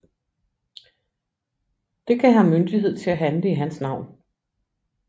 Det gav ham myndighed til at handle i hans navn